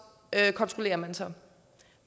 kontrollerer man så